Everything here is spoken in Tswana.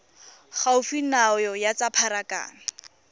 gaufi nao ya tsa pharakano